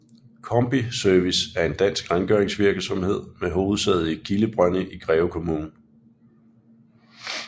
Combi Service er en dansk rengøringsvirksomhed med hovedsæde i Kildebrønde i Greve Kommune